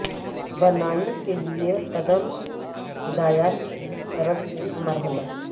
بنائی کے لئے قدم ہدایات کی طرف سے مرحلہ